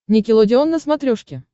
никелодеон на смотрешке